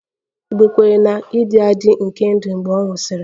Igbo kweere na-ịdị adị nke ndụ mgbe ọ nwụsịrị